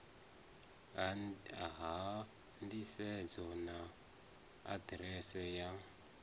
ha nḓisedzo na aḓirese ya